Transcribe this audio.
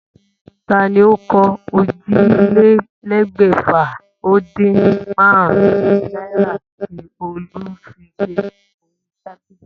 Ta ni ó kó ójìlélégbèfà-o-din-márún-ún náírà tí Olú fi sí orí tábìlì?